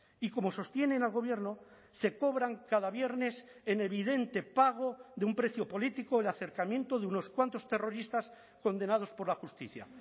y como sostienen al gobierno se cobran cada viernes en evidente pago de un precio político el acercamiento de unos cuantos terroristas condenados por la justicia